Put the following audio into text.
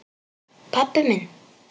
Pabbi minn?